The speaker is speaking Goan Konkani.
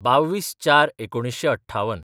२२/०४/१९५८